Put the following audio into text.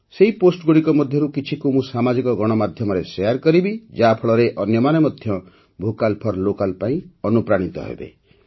ସେହି ପୋଷ୍ଟଗୁଡ଼ିକ ମଧ୍ୟରୁ କିଛିକୁ ମୁଁ ସାମାଜିକ ଗଣମାଧ୍ୟମରେ ଶେୟାର କରିବି ଯାହାଫଳରେ ଅନ୍ୟମାନେ ମଧ୍ୟ ଭୋକାଲ୍ ଫର୍ ଲୋକାଲ୍ ପାଇଁ ଅନୁପ୍ରାଣିତ ହେବେ